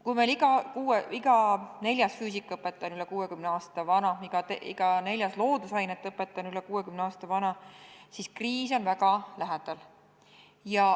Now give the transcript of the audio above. Kui meil iga neljas füüsikaõpetaja on üle 60 aasta vana, iga neljas loodusainete õpetaja on üle 60 aasta vana, siis kriis on väga lähedal.